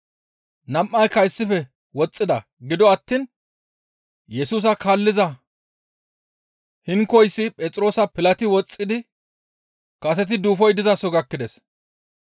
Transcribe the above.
Nam7ayka issife woxxida; gido attiin Yesusa kaalliza hinkoyssi Phexroosappe pilati woxxidi kaseti duufoy dizaso gakkides.